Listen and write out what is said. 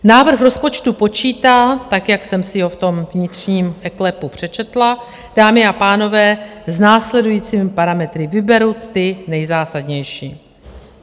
Návrh rozpočtu počítá, tak jak jsem si ho v tom vnitřním eKLEPu přečetla, dámy a pánové, s následujícími parametry - vyberu ty nejzásadnější.